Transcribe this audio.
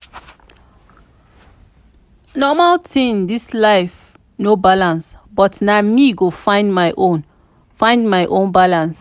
normal normal this life no balance but na me go find my own find my own balance.